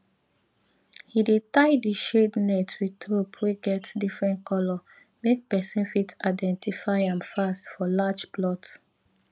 he dey tie di shade net with rope wey get different colour make person fit identify am fast for large plot